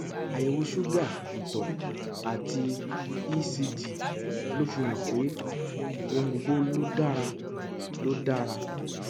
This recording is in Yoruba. àyẹwò ṣúgà ìtọ àti ecg ló fihàn pé ohun gbogbo ló dára ló dára